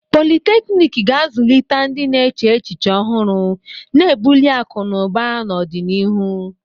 Politeknik ga-azụlite ndị na-eche echiche ọhụrụ, na-ebuli akụ na ụba n'ọdịnihu.